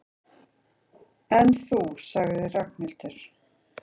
En þú sagði Ragnhildur.